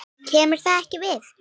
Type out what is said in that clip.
KEMUR ÞAÐ EKKI VIÐ!